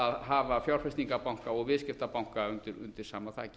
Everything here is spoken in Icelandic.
að hafa fjárfestingarbanka og viðskiptabanka undir sama þaki